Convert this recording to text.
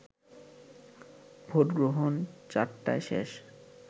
ভোটগ্রহণ ৪টায় শেষ